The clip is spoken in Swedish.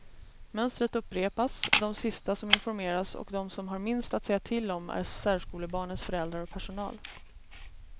Mönstret upprepas, de sista som informeras och de som har minst att säga till om är särskolebarnens föräldrar och personal.